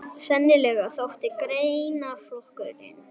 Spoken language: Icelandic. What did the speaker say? Sennilega þótti greinaflokkurinn